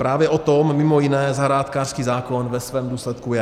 Právě o tom mimo jiné zahrádkářský zákon ve svém důsledku je.